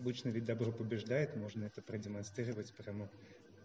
обычно ведь добро побеждает можно это продемонстрировать потому